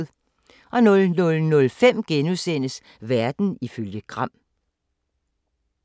00:05: Verden ifølge Gram *